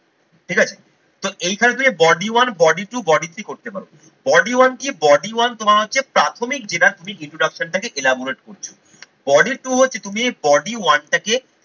ঠিক আছে। তো এইখানে থেকে body one, body two body three করতে পারো। Body one কি body one তোমার হচ্ছে প্রাথমিক যেটা তুমি introduction টা কে ellaborate করছো body two হচ্ছে তুমি body one টাকে